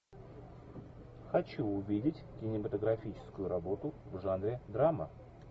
хочу увидеть кинематографическую работу в жанре драма